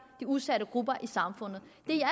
de udsatte grupper i samfundet